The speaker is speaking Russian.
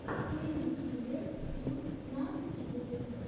пэйнкиллер филл на ютьюбе